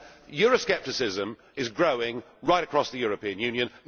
Euroscepticism is growing right across the European Union.